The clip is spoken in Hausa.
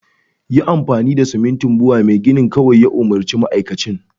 yi amfani da simintin Bua kawai Mai gini ya umurci ma'aikacin